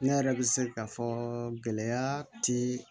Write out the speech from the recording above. Ne yɛrɛ bɛ se k'a fɔ gɛlɛya ti